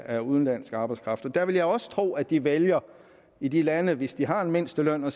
af udenlandsk arbejdskraft der vil jeg også tro at de vælger i de lande hvis de har en mindsteløn at